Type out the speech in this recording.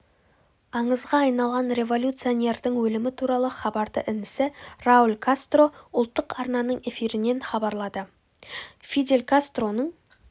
аңызға айналған революционердің өлімі туралы хабарды інісі рауль кастро ұлттық арнаның эфирінен хабарлады фидель кастроның